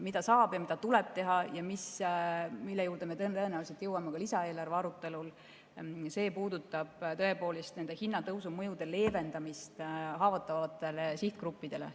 Mida saab ja mida tuleb teha ja mille juurde me tõenäoliselt jõuame ka lisaeelarve arutelul, puudutab tõepoolest nende hinnatõusu mõjude leevendamist haavatavatele sihtgruppidele.